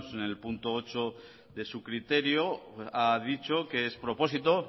en el punto ocho de su criterio ha dicho que es propósito